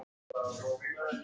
Ekkert fólk nálægt.